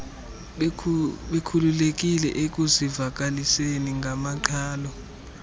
bekhululekile ekuzivakaliseni ngamaqhalo